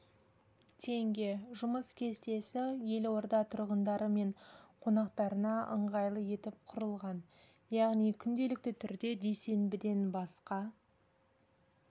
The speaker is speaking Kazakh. теңге жұмыс кестесі елорда тұрғындары мен қонақтарына ыңғайлы етіп құрылған яғни күнделікті түрде дүйсенбіден басқа